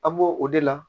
An b'o o de la